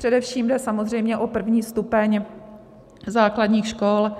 Především jde samozřejmě o první stupeň základních škol,